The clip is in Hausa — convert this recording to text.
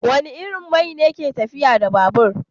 Wane irin man ne ke tafiyar da babur?